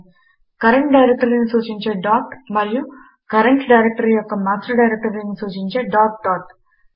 current డైరెక్టరీని సూచించే dot మరియు కరంట్ డైరెక్టరీ యొక్క మాతృ డైరెక్టరీని సూచించే డాట్ డాట్